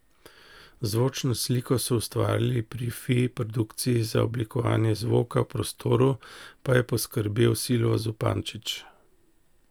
Zvočno sliko so ustvarili pri Fi produkciji, za oblikovanje zvoka v prostoru pa je poskrbel Silvo Zupančič.